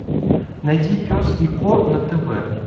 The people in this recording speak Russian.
найди пес и ко на тв